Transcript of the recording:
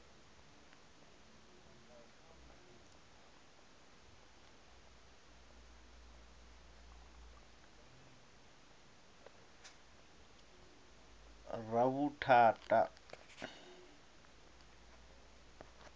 ravhuthata